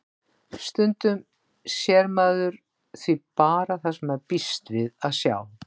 Stundum sér maður því bara það sem maður býst við að sjá.